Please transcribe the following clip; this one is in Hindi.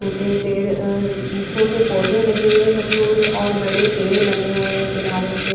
छोटे पेड़ अ छोटे पौधे लगे हुए हैं गमलों में और बड़े पेड़ बने हुए हैं किनारे से--